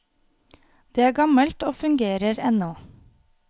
Det er gammelt og fungerer ennå.